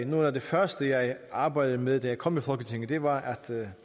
noget af det første jeg arbejdede med da jeg kom i folketinget det var at